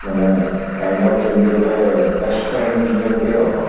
ମାନେ kind of ଯେମତି ଗୋଟେ best friend ଯେମତି ଆଉ କଣ